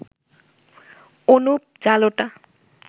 Anup Jalota